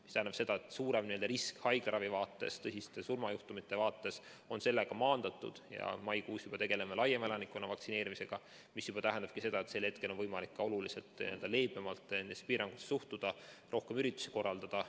See tähendab seda, et suurem risk haiglaravi vaates, tõsiste surmajuhtumite vaates on sellega maandatud ja maikuus juba tegeleme laiemalt elanikkonna vaktsineerimisega, mis tähendab, et siis on võimalik ka oluliselt leebemalt nendesse piirangutesse suhtuda, rohkem üritusi korraldada.